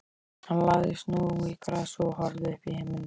Hann lagðist nú í grasið og horfði uppí himininn.